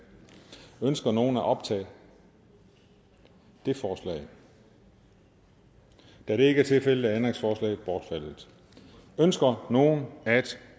ønsker nogen at optage det forslag da det ikke er tilfældet er ændringsforslaget bortfaldet ønsker nogen at